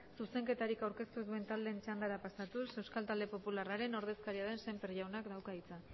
zuzenketarik aurkeztu ez duten taldeen txandara pasatuz euskal talde popularraren ordezkaria den sémper jaunak dauka hitza